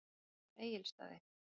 Myndin sýnir Egilsstaði.